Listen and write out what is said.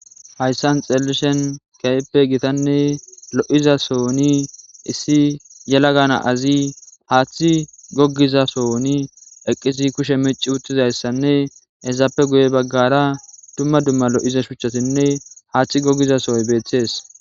Hayissan xelishin kehipe gittanne lo'iza sohoni issi yalagga na'azi hathi goggizza sohoni eqizi kushe micci utizayissane izappe guye baggara duma duma lo'iza shuchchatinne hathi gogiza sohoyi betesi.